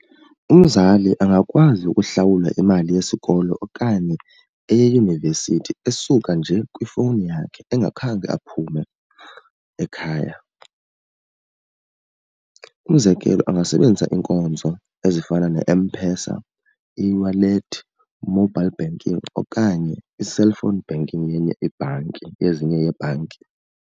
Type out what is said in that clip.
Umzali angakwazi ukuhlawula imali yesikolo okanye eyeyunivesithi esuka nje kwifowuni yakhe engakhange aphume ekhaya. Umzekelo, angasebenzisa iinkonzo ezifana neM-PESA, eWallet, Mobile Banking okanye i-cellphone banking yenye ibhanki yezinye yeebhanki.